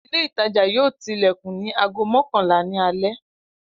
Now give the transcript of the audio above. Ile itaja yoo tilekun ni aago mọkanla ni ale